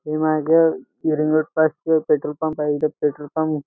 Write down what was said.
ते मागं हिरे रोड पाशी एक पेट्रोल पंप आहे इथ पेट्रोल पंप --